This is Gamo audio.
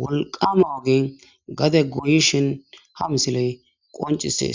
wolqama gade goyishin, ha misile qonchisye.